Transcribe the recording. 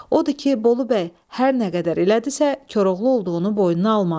Odur ki, Bolubəy hər nə qədər elədisə, Koroğlu olduğunu boynuna almadı.